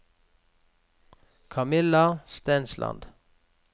Camilla Stensland